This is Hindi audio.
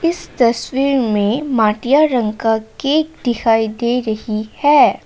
इस तस्वीर में मटिया रंग का केक दिखाई दे रही है।